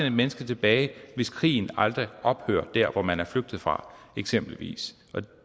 et menneske tilbage hvis krigen aldrig ophører der hvor man er flygtet fra eksempelvis